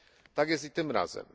Tak jest i tym razem.